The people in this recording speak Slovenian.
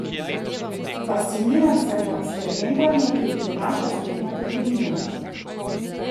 Fasciniran sem nad spremembami, ki jih prinaša spletna trgovina!